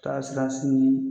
taa siran sini